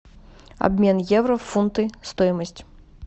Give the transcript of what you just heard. обмен евро в фунты стоимость